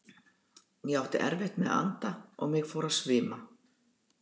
Ég átti erfitt með að anda og mig fór að svima.